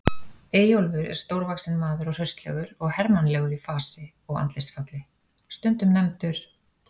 Eyjólfur er stórvaxinn maður og hraustlegur og hermannlegur í fasi og andlitsfalli, stundum nefndur